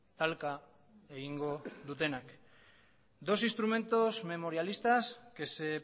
talka egingo dutenak dos instrumentos memorialistas que se